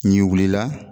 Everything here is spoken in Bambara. N'i wulila